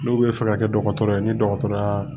N'u bɛ fɛ ka kɛ dɔgɔtɔrɔ ye ni dɔgɔtɔrɔ y'a